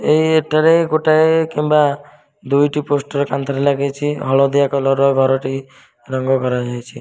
ଏଇ ଏଟାରେ ଗୋଟାଏ କିମ୍ୱା ଦୁଇଟି ପୋଷ୍ଟର କାନ୍ଥ ରେ ଲାଗିଚି ହଳଦିଆ କଲର ର ଘରଟି ରଙ୍ଗ କରାଯାଇଛି।